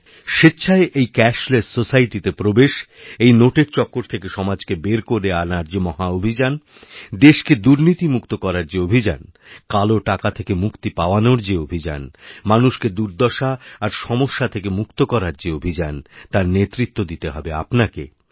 আপনিস্বেচ্ছায় এই ক্যাশলেস সোসাইটিতে প্রবেশের এই নোটের চক্কর থেকে সমাজকে বের করেআনার যে মহাঅভিযান দেশকে দুর্নীতিমুক্ত করার যে অভিযান কালো টাকা থেকে মুক্তিপাওয়ানোর যে অভিযান মানুষকে দুর্দশা আর সমস্যা থেকে মুক্ত করার যে অভিযান তারনেতৃত্ব দিতে হবে আপনাকে